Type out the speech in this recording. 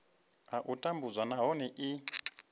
a u tambudzwa nahone i